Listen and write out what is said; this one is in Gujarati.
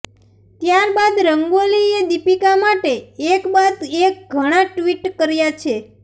ત્યારબાદ રંગોલીએ દીપિકા માટે એકબાદ એક ઘણા ટ્વીટ કર્યા છે